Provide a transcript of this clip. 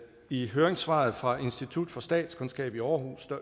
i høringssvaret fra institut for statskundskab i aarhus